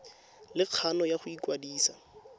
le kgano ya go ikwadisa